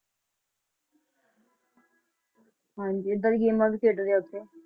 ਹਾਂਜੀ ਏਦਾਂ ਦੀਆਂ ਗੇਮਾਂ ਵੀ ਖੇਡਦੇ ਆ ਉੱਥੇ